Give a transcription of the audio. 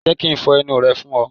Jẹ́ ki n fo ẹnu rẹ fún ọ.